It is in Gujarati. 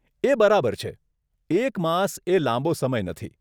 એ બરાબર છે, એક માસ એ લાંબો સમય નથી.